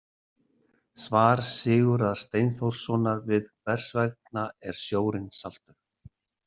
Svar Sigurðar Steinþórssonar við Hvers vegna er sjórinn saltur?